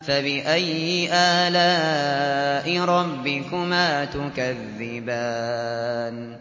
فَبِأَيِّ آلَاءِ رَبِّكُمَا تُكَذِّبَانِ